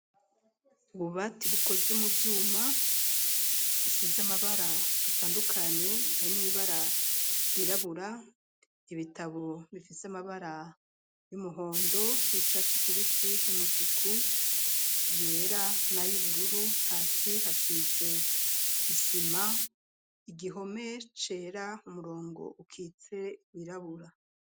Ububati bukozwe mu vyuma bisize amabara atandukanye harimwo ibara ryirabura ibitabo bifise amabara y'umuhondo, y'icatse kibisi, y'umutuku yera na y'ubururu, hasi hasize isima, igihome cera umurongo ukitse wirabura.